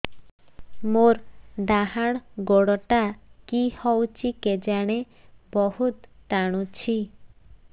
ମୋର୍ ଡାହାଣ୍ ଗୋଡ଼ଟା କି ହଉଚି କେଜାଣେ ବହୁତ୍ ଟାଣୁଛି